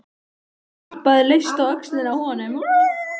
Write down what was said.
Ég klappaði laust á öxlina á honum.